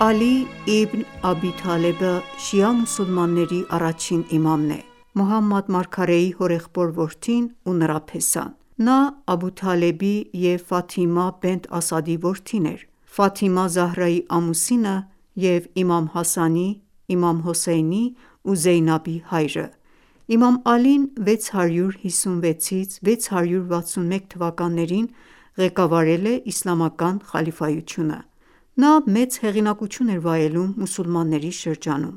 Ալի Իբն Աբի Թալեբը շիա մուսուլմանների առաջին իմամն է, Մոհամմադ մարգարեի հորեղբորդ որդին ու նրա փեսան: Նա Աբդութալեբի և Ֆաթիմա Բենթ Ասադի որդին էր, Ֆաթիմա Զահրայի ամուսինը և իմամ Հասանի, իմամ Հոսեյնի ու Զեյնաբի հայրը: Իմամ Ալին 656-661թթ. (հիջրեթի 35-40 թթ.) ղեկավարել է իսլամական խալիֆայությունը: Նա մեծ հեղինակություն էր վայելում մուսուլմանների շրջանում: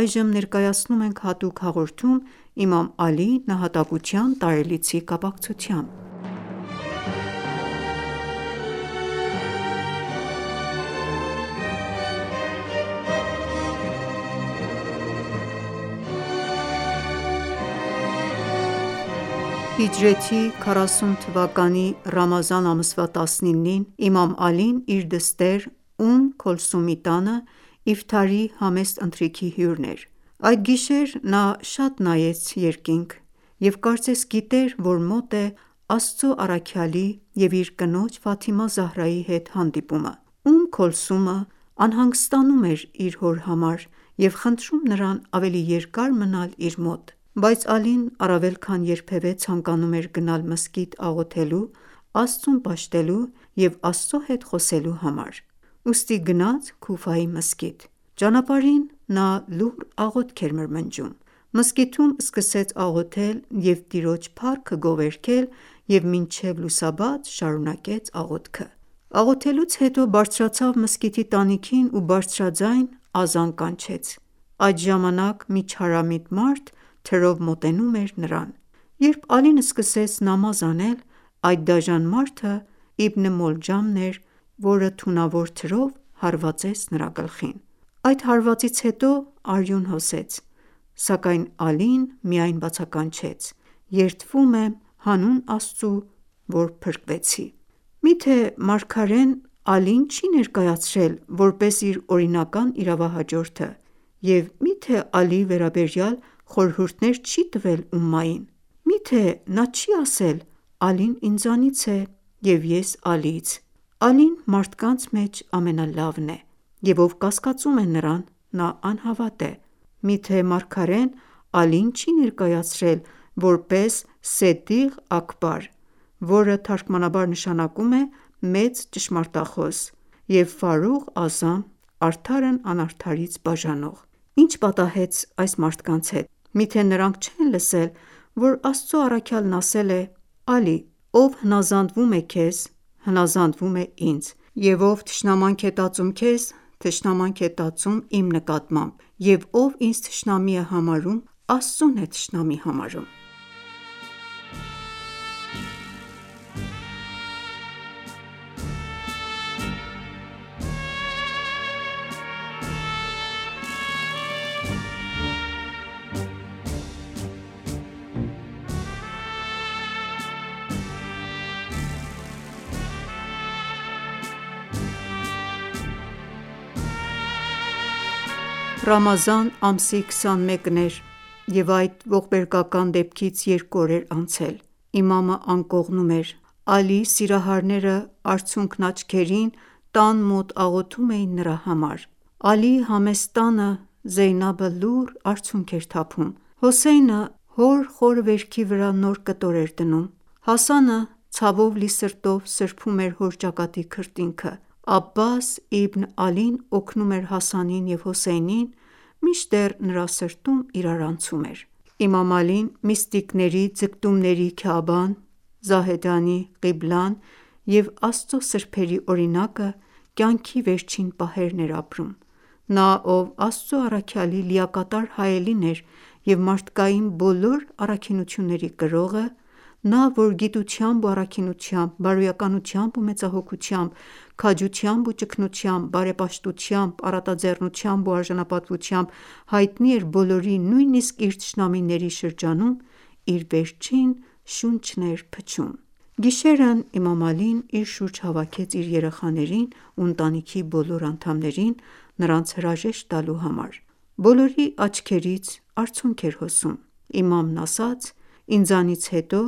Այժմ Ներկայացնում ենք հատուկ հաղորդում իմամ Ալիի նահատակության տարելիցի կապակցությամբ։ Հիջրեթի 40 թվականի Ռամազան ամսվա 19-ին, իմամ Ալին իր դստեր Ումմ Քոլսումի տանը իֆթարի համեստ ընթրիքի հյուրն էր։ Այդ գիշեր նա շատ նայեց երկինք և կարծես գիտեր, որ մոտ է Աստծու առաքյալի և իր կնոջ՝ Ֆաթիմա Զահրայի հետ հանդիպումը: Ումմ Քոլսումը անհանգստանում էր իր հոր համար և խնդրում նրան ավելի երկար մնալ իր մոտ:Բայց Ալին առավել քան երբևէ ցանկանում էր գնալ մզկիթ աղոթելու, Աստծուն պաշտելու և Աստծու հետ խոսելու համար, ուստի գնաց Քուֆայի մզկիթ: Ճանապարհին նա լուռ աղոթք էր մրմնջում: Մզկիթում սկսեց աղոթել և Տիրոջ փառքը գովերգել և մինչև լուսաբաց շարունակեց աղոթքը: Աղոթելուց հետո բարձրացավ մզկիթի տանիքին ու բարձրաձայն ազան կանչեց: Այդ ժամանակ մի չարամիտ մարդ թրով մոտենում էր նրան։ Երբ Ալին սկսեց նամազ անել, այդ դաժան մարդը` Իբն Մոլջամն իր թունավոր թրով հարվածեց նրա գլխին։ Այդ հարվածից հետո արյուն հոսեց, սակայն Ալին միայն բացականչեց. «Երդվում եմ հանուն Աստծու, որ փրկվեցի»: Միթե մարգարեն Ալիին չի՞ ներկայացրել, որպես իր օրինական իրավահաջորդը և միթե Ալիի վերաբերյալ խորհուրդներ չի՞ տվել ումմային: Միթե նա չի՞ ասել. «Ալին ինձանից է, և ես՝ Ալիից։ Ալին մարդկանց մեջ ամենալավն է, և ով կասկածում է նրան, նա անհավատ է: Միթե Մարգարեն Ալիին չի ներկայացրել որպես Սեդիղ Աքբար, որը թարգմանաբար նշանակում է մեծ ճշմարտախոս և Ֆարուղ Ազամ՝ արդարն անարդարից բաժանող: Ի՞նչ պատահեց այս մարդկանց հետ: Միթե նրանք չե՞ն լսել, որ Աստծու առաքյալն ասել է. «Ալի, ով հնազանդվում է քեզ, հնազանդվում է ինձ, և ով թշնամանք է տածում քեզ, թշնամանք է տածում իմ նկատմամբ, և ով ինձ թշնամի է համարում, Աստծուն է թշնամի համարում»։ Ռամազան ամսի 21-ն էր, և այդ ողբերգական դեպքից երկու օր էր անցել։ Իմամը անկողնում էր։ Ալիի սիրահարները արցունքն աչքերին տան մոտ աղոթում էին նրա համար։ Ալիի համեստ տանը Զեյնաբը լուռ արցունք էր թափում։ Հոսեյնը հոր խորը վերքի վրա նոր կտոր է դնում։ Հասանը ցավով լի սրտով սրբում էր հոր ճակատի քրտինքը։ Աբբաս Իբն Ալին օգնում էր Հասանին և Հոսեյնին, մինչդեռ նրա սրտում իրարանցում էր: Իմամ Ալին՝ միստիկների ձգտումների Քաաբան, Զահեդանի ղիբլան և Աստծու սրբերի օրինակը կյանքի վերջին պահերն էր ապրում: Նա, ով Աստծու առաքյալի լիակատար հայելին էր և մարդկային բոլոր առաքինությունների կրողը, նա, որ գիտությամբ ու առաքինությամբ, բարոյականությամբ ու մեծահոգությամբ, քաջությամբ ու ճգնությամբ, բարեպաշտությամբ, առատաձեռնությամբ ու արժանապատվությամբ հայտնի էր բոլորի, նույնիսկ իր թշնամիների շրջանում, իր վերջին շունչն էր փչում։ Գիշերն իմամ Ալին իր շուրջ հավաքեց իր երեխաներին ու ընտանիքի բոլոր անդամներին՝ նրանց հրաժեշտ տալու համար: Բոլորի աչքերից արցունք էր հոսում։ Իմամն ասաց. «Ինձանից հետո,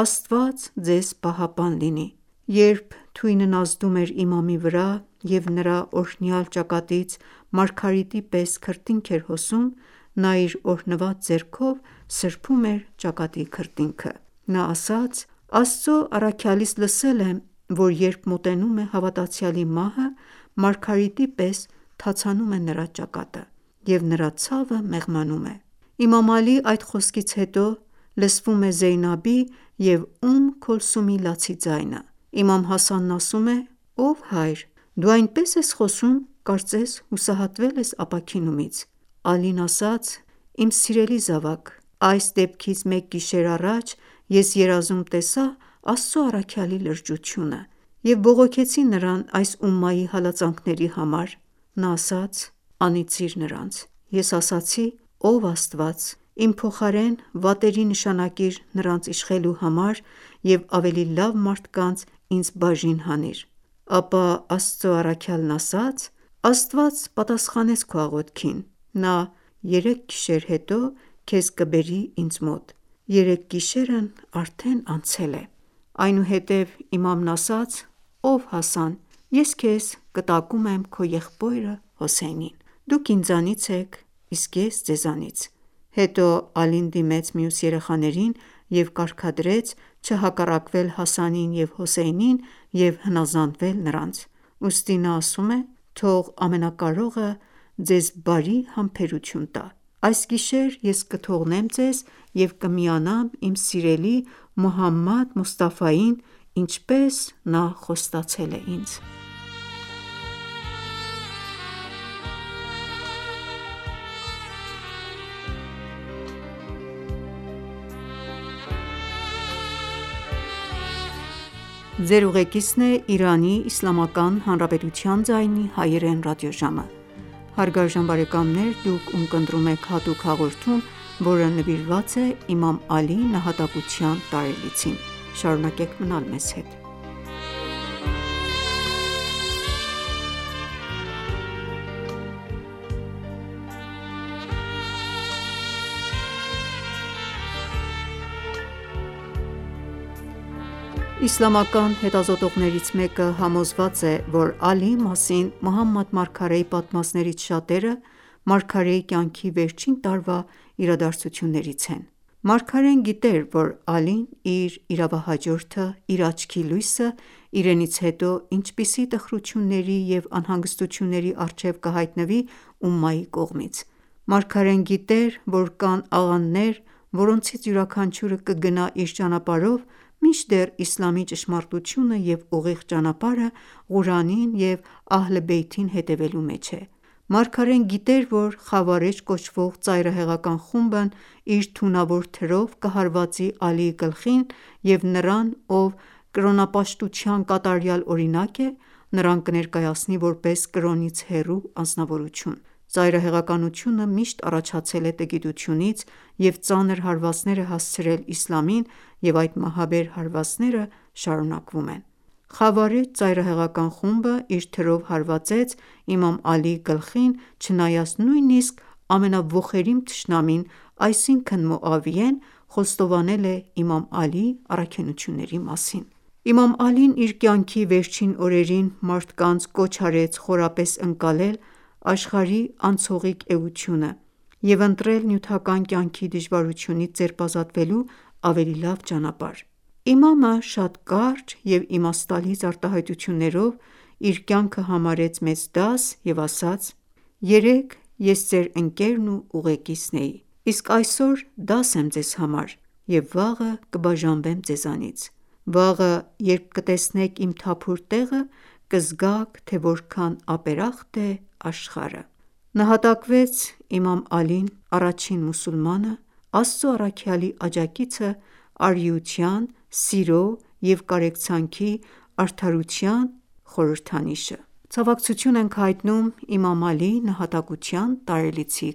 Աստված ձեզ պահապան լինի»։ Երբ թույնն ազդում էր իմամի վրա, և նրա օրհնյալ ճակատից մարգարիտի պես քրտինք էր հոսում, նա իր օրհնված ձեռքով սրբում էր ճակատի քրտինքը։ Նա ասաց. «Աստծու առաքյալից լսել եմ, որ երբ մոտենում է հավատացյալի մահը, մարգարիտի պես թացանում է նրա ճակատը, և նրա ցավը մեղմանում է: Իմամ Ալիի այդ խոսքից հետո, լսվում է Զեյնաբի և Ում Քոլսումի լացի ձայնը։ Իմամ Հասանն ասում է. «Ով հայր, դու այնպես ես խոսում, կարծես հուսահատվել ես ապաքինումից»: Ալին ասաց. «Իմ սիրելի զավակ, այս դեպքից մեկ գիշեր առաջ ես երազում տեսա Աստծու առաքյալի լրջությունը, և բողոքեցի նրան այս ումմայի հալածանքների համար: Նա ասաց. «Անիծիր նրանց»։ Ես ասացի. «Ով Աստված, իմ փոխարեն վատերի նշանակիր նրանց իշխելու համար և ավելի լավ մարդկանց ինձ բաժին հանիր»։ Ապա Աստծու առաքյալն ասաց․ «Աստված պատասխանեց քո աղոթքին, Նա երեք գիշեր հետո քեզ կբերի ինձ մոտ: Երեք գիշերն արդեն անցել է»։ Այնուհետև իմամն ասում է. «Ով Հասան, ես քեզ կտակում եմ քո եղբորը՝ Հոսեյնին, դուք ինձանից եք, իսկ ես՝ ձեզանից»: Հետո Ալին դիմեց մյուս երեխաներին և կարգադրեց չհակառակվել Հասանին և Հոսեյնին և հնազանդվել նրանց: Ուստի նա ասում է. «Թող Ամենակարողը ձեզ բարի համբերություն տա: Այս գիշեր ես կթողնեմ ձեզ և կմիանամ իմ սիրելի Մոհամմադ Մոսթաֆային, ինչպես նա խոստացել է ինձ»: Իսլամական հետազոտողներից մեկը համոզված է, որ Ալիի մասին Մոհամմադ մարգարեի պատմածներից շատերը մարգարեի կյանքի վերջին տարվա իրադարձություններից են։ Մարգարեն գիտեր, որ Ալին իր իրավահաջորդը, իր աչքի լույսը, իրենից հետո, ինչպիսի տխրությունների և անհանգստությունների առջև կհայտնվի ումմայի կողմից։ Մարգարեն գիտեր, որ կան աղանդներ, որոնցից յուրաքանչյուրը կգնա իր ճանապարհով, մինչդեռ իսլամի ճշմարտությունը և ուղիղ ճանապարհը Ղուրանին և Ահլե Բեյթին հետևելու մեջ է: Մարգարեն գիտեր, որ Խավարեջ կոչվող ծայրահեղական խումբը իր թունավոր թրով կհարվածի Ալիի գլխին և նրան, ով կրոնապաշտության կատարյալ օրինակ է, նրան կներկայացնի որպես կրոնից հեռու անձնավորություն: Ծայրահեղականությունը միշտ առաջացել է տգիտությունից և ծանր հարվածներ է հասցրել իսլամին, և այդ մահաբեր հարվածները շարունակվում են: Խավարեջ ծայրահեղական խումբը իր թրով հարվածեց իմամ Ալիի գլխին, չնայած նույնիսկ ամենաոխերիմ թշնամին, այսինքն Մոավիեն խոստովանել է իմամ Ալիի առաքինությունների մասին։ Իմամ Ալին իր կյանքի վերջին օրերին մարդկանց կոչ արեց խորապես ընկալել աշխարհի անցողիկ էությունը և ընտրել նյութական կյանքի դժվարությունից ձերբազատվելու ավելի լավ ճանապարհ: Իմամը շատ կարճ և իմաստալից արտահայտություններով իր կյանքը համարեց մեծ դաս և ասաց. «Երեկ ես ձեր ընկերն ու ուղեկիցն էի, իսկ այսօր դաս եմ ձեզ համար, և վաղը կբաժանվեմ ձեզանից... Վաղը երբ կտեսնեք իմ թափուր տեղը, կզգաք, թե որքան ապերախտ է աշխարհը». (քարոզ 149) Նահատակվեց իմամ Ալին՝ առաջին մուսուլմանը, Աստծու առաքյալի աջակիցը, արիության, սիրո և կարեկցանքի, արդարության և արդարության խորհրդանիշը: Ցավակցություն ենք հայտնում իմամ Ալիի նահատակության տարելիցի